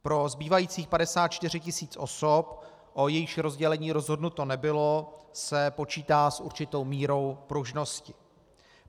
Pro zbývajících 54 tisíc osob, o jejichž rozdělení rozhodnuto nebylo, se počítá s určitou mírou pružnosti.